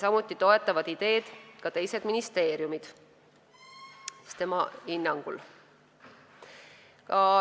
Samuti toetavad tema hinnangul ideed teised ministeeriumid.